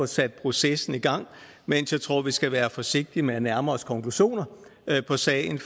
sat processen i gang mens jeg tror at vi skal være forsigtige med at nærme os konklusioner på sagen